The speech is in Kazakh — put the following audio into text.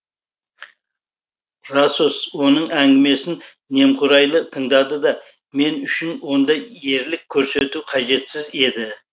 расос оның әңгімесін немқұрайлы тыңдады да мен үшін онда ерлік көрсету қажетсіз еді